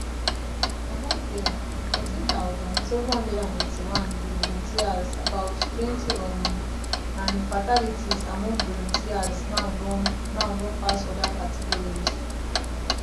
among dem 13781 be volunteers abouttwenty[um] and fatalities among volunteers now don now don pass oda categories